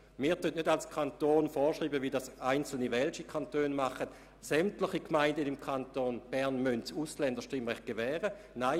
Wir wollen als Kanton nicht vorschreiben, wie dies in einzelnen welschen Kantonen der Fall ist, dass sämtliche Gemeinden im Kanton Bern das Ausländerstimmrecht gewähren müssen.